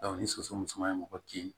ni soso musoman ye mɔgɔ kin